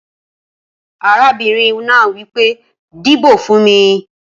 Arábìnrin náà wipé, dìbò fún mí!